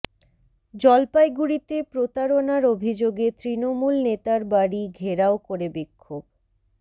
জলপাইগুড়িতে প্রতারণার অভিযোগে তৃণমূল নেতার বাড়ি ঘেরাও করে বিক্ষোভ